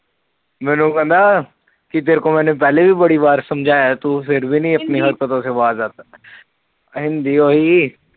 ਮੈਨੂੰ ਕਹਿੰਦਾ ਤੇਰੇ ਕੋ ਪਹਿਲੇ ਵੀ ਬੜੀ ਬਾਰ ਸਮਝਾਇਆ ਤੂੰ ਫਿਰ ਵੀ ਨੀ ਆਪਣੀ ਹਰਕਤੋ ਸੇ ਬਾਜ ਆਤਾ ਹਿੰਦੀ ਉਹੀ